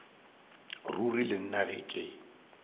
ruri le nna ge ke